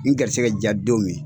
N garisɛkɛ diya dɔn min.